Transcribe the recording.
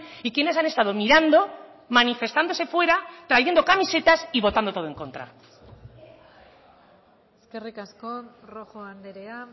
y quienes han estado mirando manifestándose fuera trayendo camisetas y votando todo en contra eskerrik asko rojo andrea